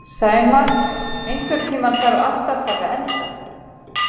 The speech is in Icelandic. Sæmar, einhvern tímann þarf allt að taka enda.